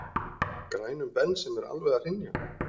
grænum Bens sem er alveg að hrynja.